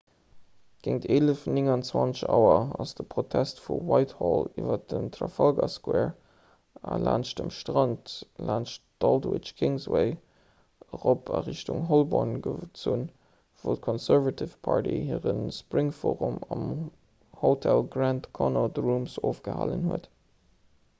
géint 11.29 auer ass de protest vu whitehall iwwer den trafalgar square a laanscht dem strand laanscht aldwych d'kingsway erop a richtung holborn gezunn wou d'conservative party hire spring forum am hotel grand connaught rooms ofgehalen huet